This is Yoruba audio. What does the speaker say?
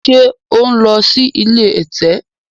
ṣe o n ló sì ilé ẹ̀tẹ̀?